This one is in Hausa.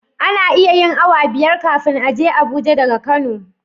Ana iya yin awa biyar kafin a je abuja daga kano